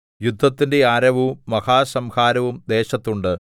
യുദ്ധത്തിന്റെ ആരവവും മഹാസംഹാരവും ദേശത്തുണ്ട്